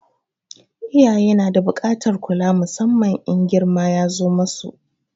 Iyaye na da buƙatar kula musamman in girma ya zo ma su.